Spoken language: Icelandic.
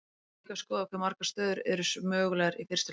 við getum líka skoðað hve margar stöður eru mögulegar í fyrstu leikjum